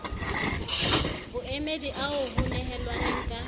boemedi ao ho nehelanweng ka